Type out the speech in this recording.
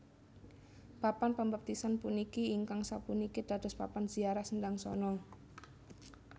Papan pambaptisan puniki ingkang sapuniki dados papan ziarah Sendangsono